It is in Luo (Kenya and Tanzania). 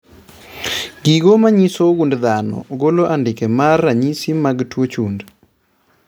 Gigo manyiso gund dhano golo andike mag ranyisi mag tuo chund